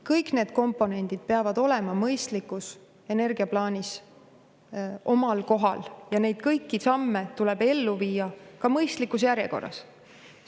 Kõik need komponendid peavad olema mõistlikus energiaplaanis omal kohal ja kõiki neid samme tuleb ka mõistlikus järjekorras ellu viia.